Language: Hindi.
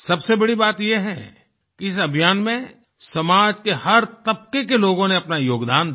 सबसे बड़ी बात ये है कि इस अभियान में समाज के हर तबके के लोगों ने अपना योगदान दिया